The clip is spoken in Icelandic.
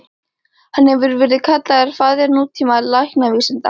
Hann hefur verið kallaður faðir nútíma læknavísinda.